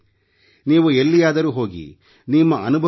ನೀವು ಎಲ್ಲಿಯಾದರೂ ಹೋಗಿ ನಿಮ್ಮ ಅನುಭವವನ್ನು ಹಂಚಿಕೊಳ್ಳಿ